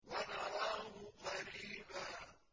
وَنَرَاهُ قَرِيبًا